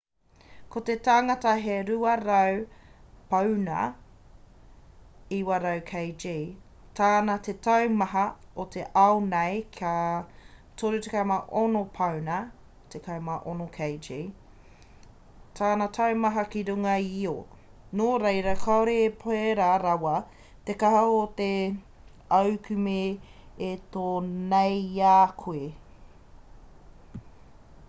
ko te tangata he 200 pauna 90kg tana te taumaha ki te ao nei ka 36 pauna 16kg tana taumaha ki runga i io. nō reira kāore e pērā rawa te kaha o te aukume e tō nei i a koe